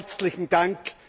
Herzlichen Dank!